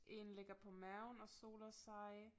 Én ligger på maven og soler sig